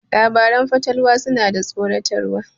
Labaran fatalwa suna da tsoratarwa.